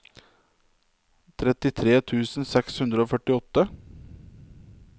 trettitre tusen seks hundre og førtiåtte